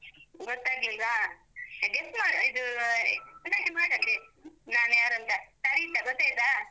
ಗೊತ್ತಾಗ್ಲಿಲ್ವ? ಎ guess ಮಾಡು, ಇದೂ ನೆನಪು ಮಾಡತ್ತೆ. ನಾನ್ ಯಾರೂಂತ, ಸರಿತ ಗೊತ್ತಾಯ್ತಾ?